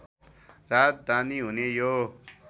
राजधानी हुने यो